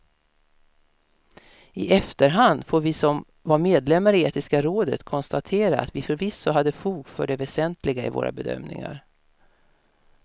I efterhand får vi som var medlemmar i etiska rådet konstatera att vi förvisso hade fog för det väsentliga i våra bedömningar.